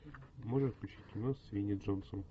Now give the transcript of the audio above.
можешь включить кино с винни джонсом